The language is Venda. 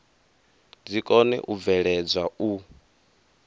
dzi kone u bveledzwa u